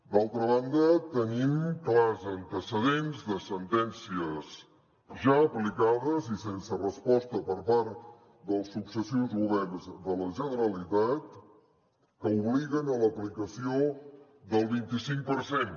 d’altra banda tenim clars antecedents de sentències ja aplicades i sense resposta per part dels successius governs de la generalitat que obliguen a l’aplicació del vint i cinc per cent